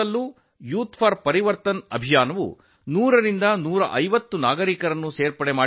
youth for Parivartan ಅಭಿಯಾನವು ಪ್ರತಿ ಸ್ಥಳದಲ್ಲಿ 100 ರಿಂದ 150 ನಾಗರಿಕರನ್ನು ಸಂಪರ್ಕಿಸಿದೆ